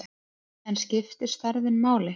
En skiptir stærðin máli?